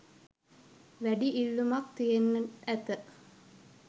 වැඩි ඉල්ලුමක් තියෙන්ට ඇත